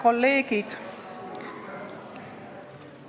Head kolleegid!